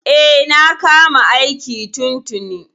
E, na kama aiki tun tuni.